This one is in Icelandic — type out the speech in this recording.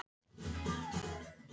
Fylgist þú mikið með fótbolta í dag?